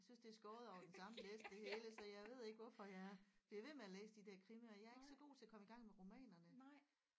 Jeg synes det er skåret over den samme læst det hele så jeg ved ikke hvorfor jeg bliver ved med at læse de der krimier jeg er ikke så god til at komme i gang med romanerne